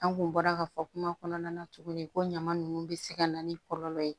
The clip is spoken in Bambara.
An kun bɔra ka fɔ kuma kɔnɔna na tuguni ko ɲama nunnu bɛ se ka na ni kɔlɔlɔ ye